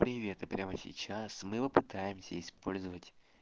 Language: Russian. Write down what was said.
привет и прямо сейчас мы попытаемся использовать